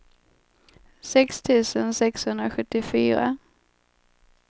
sex tusen sexhundrasjuttiofyra